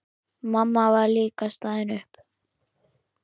Mamma var líka staðin upp.